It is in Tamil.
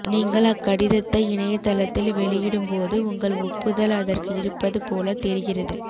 நீங்கள் அக்கடிதத்தை இணையதளத்தில் வெளியிடும்போது உங்கள் ஒப்புதல் அதற்கு இருப்பது போலத் தெரிகிறது